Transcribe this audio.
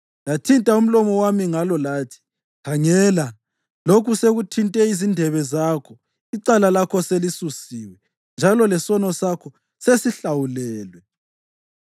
Lathinta umlomo wami ngalo lathi, “Khangela, lokhu sekuthinte izindebe zakho; icala lakho selisusiwe, njalo lesono sakho sesihlawulelwe.”